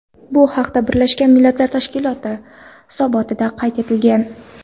Bu haqda Birlashgan Millatlar Tashkiloti hisobotida qayd etilgan .